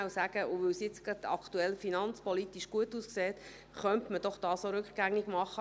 Man könnte sagen, weil die finanzpolitische Lage gerade gut aussehe, könne man diese Sparmassnahme auch rückgängig machen.